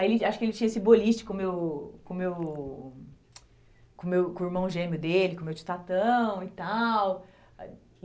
Aí acho que ele tinha esse boliche com o meu com o meu com o meu com o irmão gêmeo dele, com o meu tio e tal.